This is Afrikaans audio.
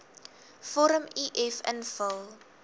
vorm uf invul